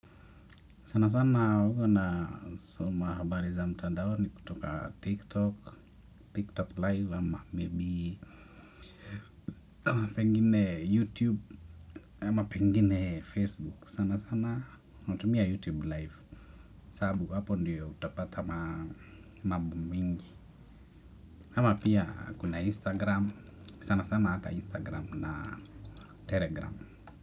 Sana sana huwa nasoma habari za mtandoni kutoka TikTok, TikTok live, ama maybe pengine YouTube pengine Facebook sanasana natumia YouTube live sababu hapo ndiyo utapata mambo mingi ama pia kuna instagram sana sana hata instagram na telegram.